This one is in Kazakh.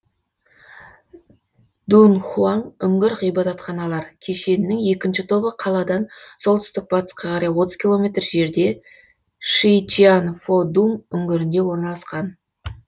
дунхуаң үңгір ғибадатханалар кешенінің екінші тобы қаладан солтүстік батысқа қарай отыз километр жерде шичианфодуң үңгірінде орналасқан